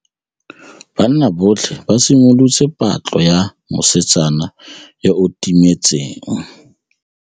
Banna botlhê ba simolotse patlô ya mosetsana yo o timetseng.